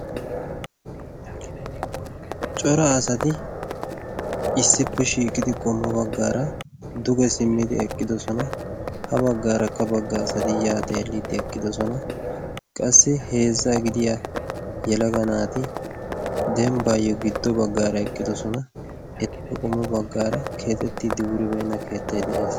cora asati issippe shiiqidi qommo baggaara duge simmidi eqqidosona ha baggaarakka bagga asati yaa xeelliddi eqqidosona qassi heezza gidiya yalaga naati dembbaayyo giddo baggaara eqqidosona ettippe qommo baggaara keexettiiddi wuribeenna keettay de'ees